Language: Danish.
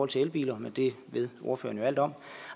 til elbiler men det ved ordføreren jo alt om